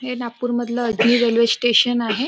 हे नागपूर मधलं Ajni railway station आहे.